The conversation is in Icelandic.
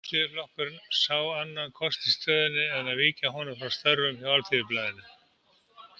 Alþýðuflokkurinn sá ekki annan kost í stöðunni en að víkja honum frá störfum hjá Alþýðublaðinu.